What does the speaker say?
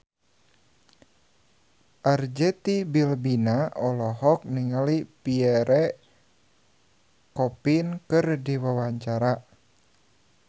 Arzetti Bilbina olohok ningali Pierre Coffin keur diwawancara